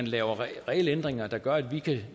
laver regelændringer der gør at vi